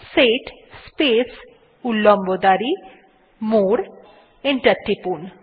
set space উল্লম্ব দাঁড়ি মোরে এবং এন্টার টিপুন